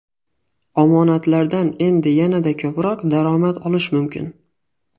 Omonatlardan endi yanada ko‘proq daromad olish mumkin!.